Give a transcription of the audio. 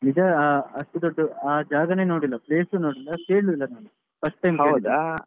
ನಿಜಾ ಅಷ್ಟ್ ದೊಡ್ಡ ಆ ಜಾಗನೇ ನೋಡಿಲ್ಲ place ಸು ನೋಡಿಲ್ಲ ಕೇಳ್ಳೂ ಇಲ್ಲ ನಾನು first time .